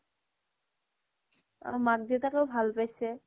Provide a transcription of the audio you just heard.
মাক দেউতাকেও ভাল পাইছে